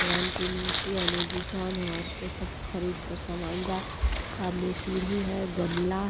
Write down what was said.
कि मूर्ति है ओने दुकान है औरते सब खरीद कर सामान जा सामने सीढ़ी है गमला--